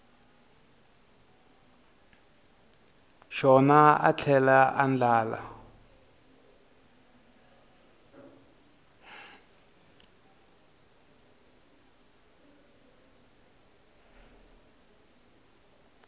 xona a tlhela a andlala